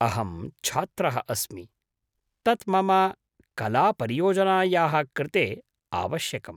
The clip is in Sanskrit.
अहं छात्रः अस्मि, तत् मम कलापरियोजनायाः कृते आवश्यकम्।